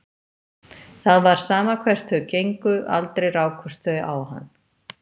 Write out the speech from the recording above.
Það var sama hvert þau gengu, aldrei rákust þau á hann.